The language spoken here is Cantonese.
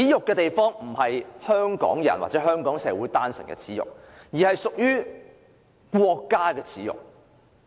這並非單純是香港人或香港社會的耻辱，而是國家的耻辱。